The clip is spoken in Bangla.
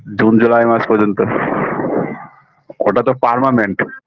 june july মাস পর্যন্ত ওটা তো parmanent